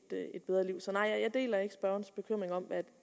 bedre liv så nej jeg deler ikke spørgerens bekymring om at